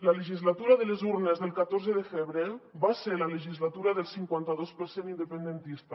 la legislatura de les urnes del catorze de febrer va ser la legislatura del cinquanta dos per cent independentista